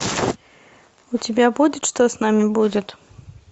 у тебя будет что с нами будет